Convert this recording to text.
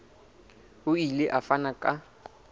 o ile a fana ka